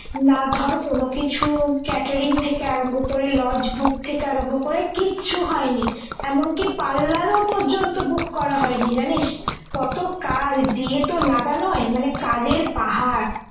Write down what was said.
না ধর কোন কিছু catering থেকে আরম্ভ করে lodge book থেকে আরম্ভ করে কিচ্ছু হয় নি এমন কি parlour ও পর্যন্ত book করা হয়নি জানিস কত কাজ বিয়েত লাগা নয় মানে কাজের পাহাড়